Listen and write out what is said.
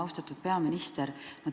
Austatud peaminister!